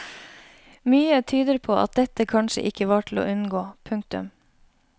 Mykje tyder på at dette kanskje ikkje var til å unngå. punktum